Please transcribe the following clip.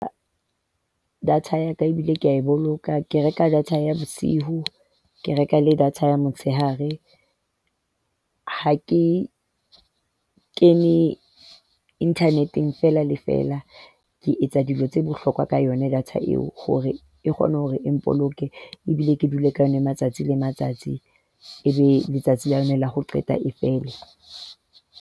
Data ya ka ebile ke a e boloka. Ke reka data ya bosiu, ke reka le data ya motsheare. Ha ke kene internet-eng fela le fela. Ke etsa dilo tse bohlokwa ka yona data eo. Hore e kgone hore e mpoloke ebile ke dule ka yona matsatsi le matsatsi, e be letsatsi lena la ho qeta e fele.